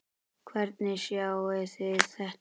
Hvernig sjáið þið þetta?